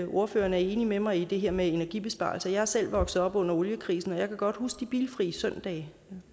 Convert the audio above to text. ordfører er enig med mig i det her med energibesparelser jeg er selv vokset op under oliekrisen og jeg kan godt huske de bilfri søndage